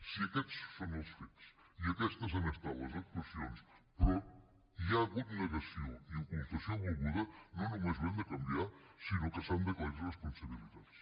si aquests són els fets i aquestes han estat les actuacions però hi ha hagut negació i ocultació volguda no només ho hem de canviar sinó que s’han d’aclarir responsabilitats